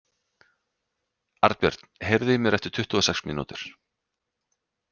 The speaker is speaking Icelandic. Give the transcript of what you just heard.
Arnbjörn, heyrðu í mér eftir tuttugu og sex mínútur.